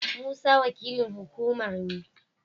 Musa wakilin hukumar ne.